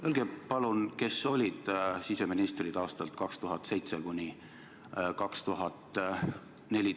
Öelge palun, kes olid siseministrid aastail 2007–2014 algus?